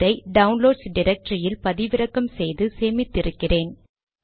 இதை டவுன்லோட்ஸ் டிரக்டரியில் பதிவிறக்கம் செய்து சேமித்து இருக்கிறேன்